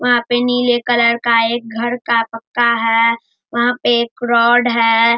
वहां पे नीले कलर का एक घर का पक्का है वहां पे एक रोड है।